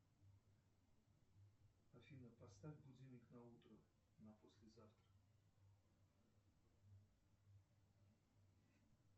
афина поставь будильник на утро на послезавтра